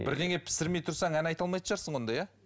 бірдеңе пісірмей тұрсаң ән айта алмайтын шығарсың онда иә